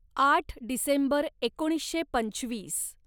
आठ डिसेंबर एकोणीसशे पंचवीस